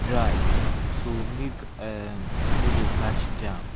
dry so milk um no go catch germ.